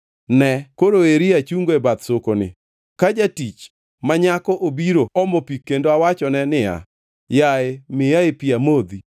Ne, koro eri achungo e bath sokoni, ka jatich ma nyako obiro omo pi kendo awachone niya, “Yaye miyae pi amodhi,”